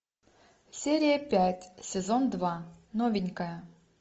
серия пять сезон два новенькая